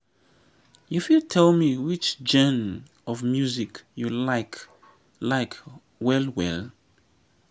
you fit tell me which genre of music you like like well well?